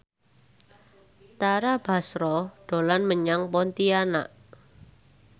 Tara Basro dolan menyang Pontianak